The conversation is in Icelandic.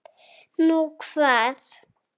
Nú, hvar?